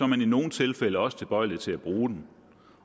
man i nogle tilfælde også tilbøjelig til at bruge den